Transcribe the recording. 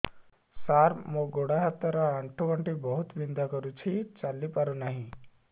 ସାର ମୋର ଗୋଡ ହାତ ର ଆଣ୍ଠୁ ଗଣ୍ଠି ବହୁତ ବିନ୍ଧା କରୁଛି ଚାଲି ପାରୁନାହିଁ